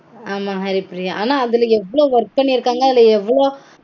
ஆமா ஹரிப்பிரியா. ஆனா அதுல எவ்ளோ work பண்ணிருக்காங்க அதுல எவ்ளோ